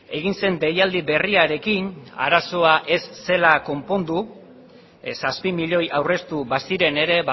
egin zen deialdi berriarekin arazoa ez zela konpondu ez zazpi milioi aurreztu baziren ere